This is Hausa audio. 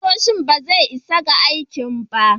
Kusoshi ba zai isa ga aikin ba.